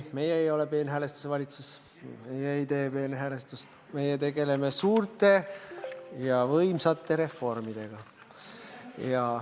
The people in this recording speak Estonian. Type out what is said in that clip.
Meie ei ole peenhäälestuse valitsus, me ei tee peenhäälestust, meie tegeleme suurte ja võimsate reformidega.